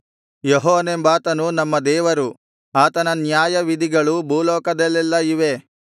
ಯೆಹೋವನೆಂಬಾತನು ನಮ್ಮ ದೇವರು ಆತನ ನ್ಯಾಯವಿಧಿಗಳು ಭೂಲೋಕದಲ್ಲೆಲ್ಲಾ ಇವೆ